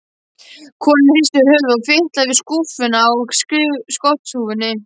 Konan hristi höfuðið og fitlaði við skúfinn á skotthúfunni.